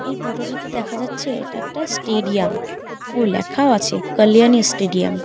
এই ফোটো টাতে দেখা যাচ্ছে এটা একটা স্টেডিয়াম ও লেখাও আছে কল্যাণী স্টেডিয়াম ।